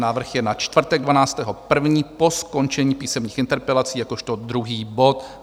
Návrh je na čtvrtek 12. 1. po skončení písemných interpelací jakožto druhý bod.